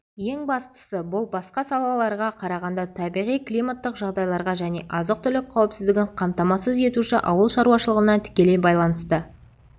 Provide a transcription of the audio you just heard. ең бастысы бұл басқа салаларға қарағанда табиғи-климаттық жағдайларға және азық-түлік қауіпсіздігін қамтамасыз етуші ауыл шаруашылығына тікелей байланысты